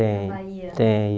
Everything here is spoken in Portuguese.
Tem, tem.